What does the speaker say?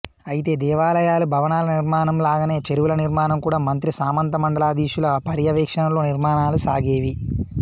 అయితే దేవాలయాలు భవనాల నిర్మాణంలాగానే చెరువుల నిర్మాణం కూడా మంత్రి సామంత మండలాధీశుల పర్యవేక్షణలో నిర్మాణాలు సాగేవి